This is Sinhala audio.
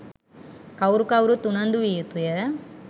කවුරු කවුරුත් උනන්දු විය යුතුය.